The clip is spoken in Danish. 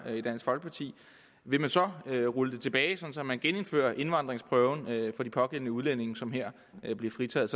vil man så rulle det tilbage sådan at man genindfører indvandringsprøven for de pågældende udlændinge som her bliver fritaget